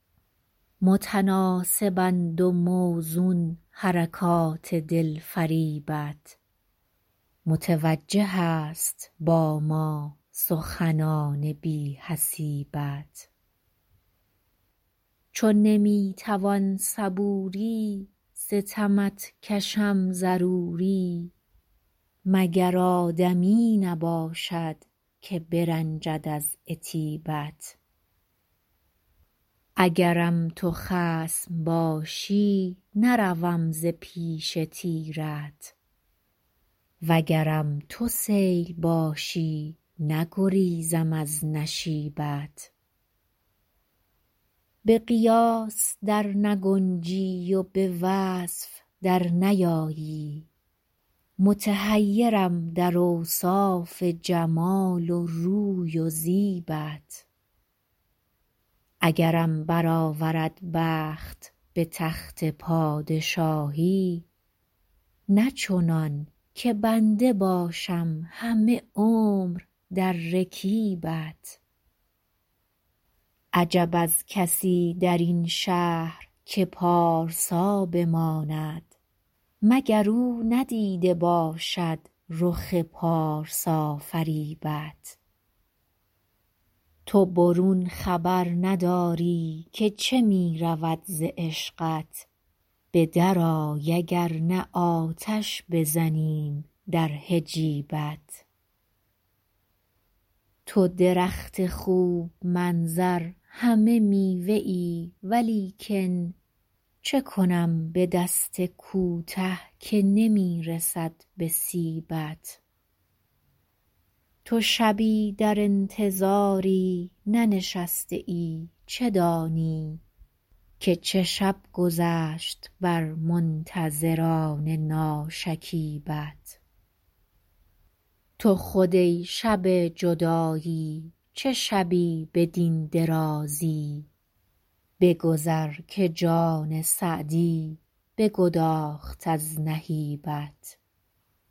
متناسبند و موزون حرکات دلفریبت متوجه است با ما سخنان بی حسیبت چو نمی توان صبوری ستمت کشم ضروری مگر آدمی نباشد که برنجد از عتیبت اگرم تو خصم باشی نروم ز پیش تیرت وگرم تو سیل باشی نگریزم از نشیبت به قیاس در نگنجی و به وصف در نیایی متحیرم در اوصاف جمال و روی و زیبت اگرم برآورد بخت به تخت پادشاهی نه چنان که بنده باشم همه عمر در رکیبت عجب از کسی در این شهر که پارسا بماند مگر او ندیده باشد رخ پارسافریبت تو برون خبر نداری که چه می رود ز عشقت به درآی اگر نه آتش بزنیم در حجیبت تو درخت خوب منظر همه میوه ای ولیکن چه کنم به دست کوته که نمی رسد به سیبت تو شبی در انتظاری ننشسته ای چه دانی که چه شب گذشت بر منتظران ناشکیبت تو خود ای شب جدایی چه شبی بدین درازی بگذر که جان سعدی بگداخت از نهیبت